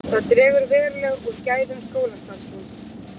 Það dregur verulega úr gæðum skólastarfsins